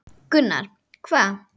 Gunnar: Hvað?